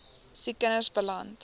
siek kinders beland